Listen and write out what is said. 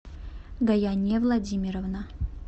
гаяне владимировна